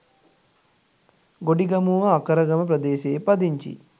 ගොඩිගමුව අකරගම ප්‍රදේශයේ පදිංචි